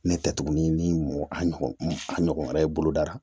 Ne tɛ tuguni ni a ɲɔgɔn wɛrɛ ye bolodara